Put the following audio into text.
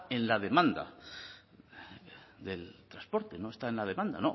en la demanda del transporte no está en la demanda